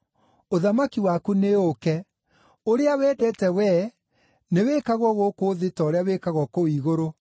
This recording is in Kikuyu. ũthamaki waku nĩũũke, ũrĩa wendete Wee nĩwĩkagwo gũkũ thĩ ta ũrĩa wĩkagwo kũu igũrũ.